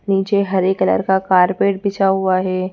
नीचे हरे कलर का कारपेट बिछा हुआ है।